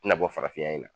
Tɛna bɔ farafinna yan